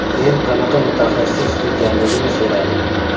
Men qanaqa mutaxassis ekanligini so‘radim.